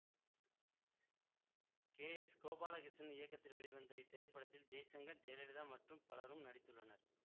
K S Gopalakrishnan இயக்கத்தில் வெளிவந்த இத்திரைப்படத்தில் ஜெய்சங்கர் ஜெயலலிதா மற்றும் பலரும் நடித்துள்ளனர்